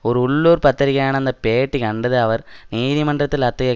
ஒரு உள்ளூர் பத்திரிகையான அந்த பேட்டி கண்டது அவர் நீதிமன்றத்தில் அத்தகைய